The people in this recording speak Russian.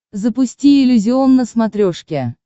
запусти иллюзион на смотрешке